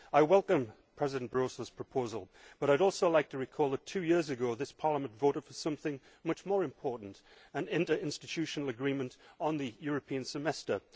I welcome President Barroso's proposal, but I would also like to recall that two years ago this Parliament voted for something much more important an interinstitutional agreement on the European Semester.